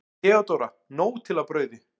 THEODÓRA: Nóg til af brauði!